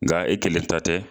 Nka e kelen ta tɛ.